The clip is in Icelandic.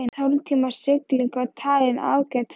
Tólf tíma sigling var talin ágæt ferð.